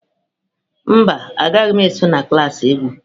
Mba, agaghị m eso na klas egwu.